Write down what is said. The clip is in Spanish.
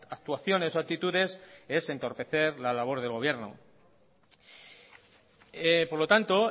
actuaciones o actitudes es entorpecer la labor del gobierno por lo tanto